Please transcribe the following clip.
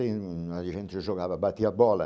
A gente jogava, batia bola.